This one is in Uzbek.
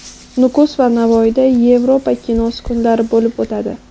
Nukus va Navoiyda Yevropa kinosi kunlari bo‘lib o‘tadi.